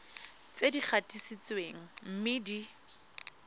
tse di gatisitsweng mme di